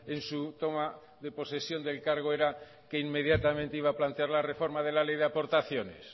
en su toma de posesión del cargo era que inmediatamente iba a plantear la reforma de la ley de aportaciones